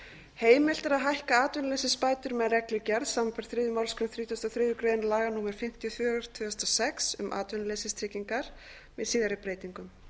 heimilt er að hækka atvinnuleysisbætur með reglugerð samanber þriðju málsgrein þrítugustu og þriðju grein laga númer fimmtíu og fjögur tvö þúsund og sex um atvinnuleysistryggingar með síðari breytingum